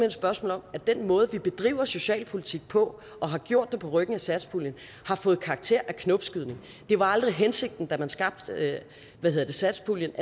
et spørgsmål om at den måde vi bedriver socialpolitik på og har gjort det på ryggen af satspuljen har fået karakter af knopskydning det var aldrig hensigten da man skabte satspuljen